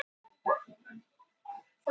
Aleinn með klaufhamarinn í hendinni.